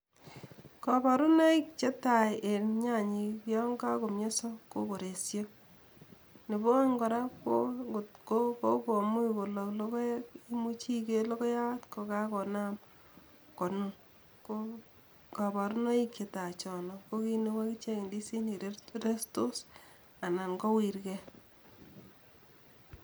Kabarunoik che tai en nyanyik yon kakomionso ko koresho, nebo oeng kora ko ngot ko kokomuch kolok logoek imuch iker logoyat kokakonaam konun ko kabarunoik chetai chono ko kiit neu akichek ndisinik restos ana kowirkei.